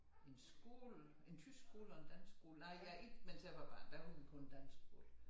En skole en tysk skole og en dansk skole nej jeg ikke mens jeg var barn der var der kun dansk skole